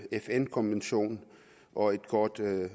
fn konvention og et godt